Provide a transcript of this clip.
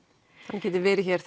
hann getur verið hér